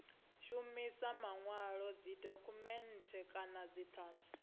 shumisa manwalo dzidokhumennde kana dzithanzi